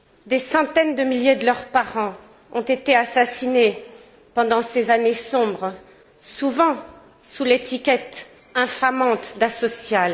Des centaines de milliers de leurs parents ont été assassinés pendant ces années sombres, souvent sous l'étiquette infamante d'asociaux.